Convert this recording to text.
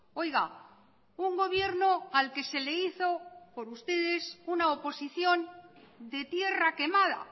oiga un gobierno al que se le hizo por ustedes una oposición de tierra quemada